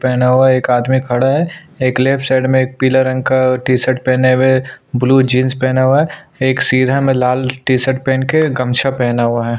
पहना हुआ एक आदमी खडा है एक लेफ्ट साइड में एक पीला रंग का टी शर्ट पहने हुए ब्लू जीन्स पहने हुए एक में लाल टी शर्ट पहन के गमछा पहना हुआ है।